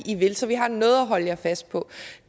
i vil så vi har noget at holde jer fast på